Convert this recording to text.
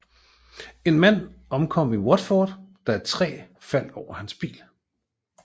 En mand omkom i Watford da et træ faldt over hans bil